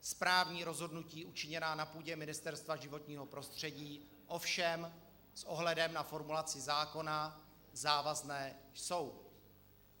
Správní rozhodnutí učiněná na půdě Ministerstva životního prostředí ovšem s ohledem na formulaci zákona závazná jsou.